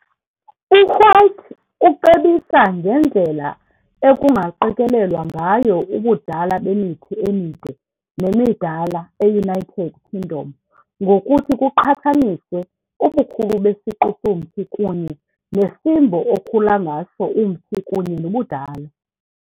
U-White ucebisa ngendlela ekungaqikelelwa ngayo ubudala bemithi emide nemidala eUnited Kingdom ngokuthi kuqhathaniswe ubukhulu besiqu somthi kunye, nesimbo okhula ngaso umthi kunye nobudala.